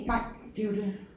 Nej det er jo det